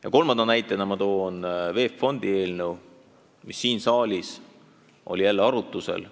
Ja kolmandaks näiteks toon VEB Fondi eelnõu, mis siin saalis oli jälle arutusel.